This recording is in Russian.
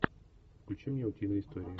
включи мне утиные истории